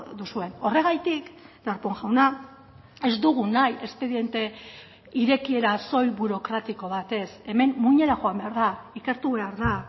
duzuen horregatik darpón jauna ez dugu nahi espediente irekiera soil burokratiko bat ez hemen muinera joan behar da ikertu behar da